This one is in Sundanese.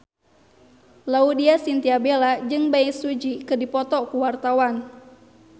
Laudya Chintya Bella jeung Bae Su Ji keur dipoto ku wartawan